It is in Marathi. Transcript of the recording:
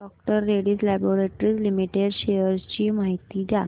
डॉ रेड्डीज लॅबाॅरेटरीज लिमिटेड शेअर्स ची माहिती द्या